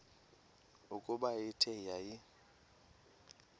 ukuba ithe yaya